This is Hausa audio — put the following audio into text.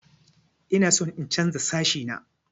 Ina son in chanza sashi na.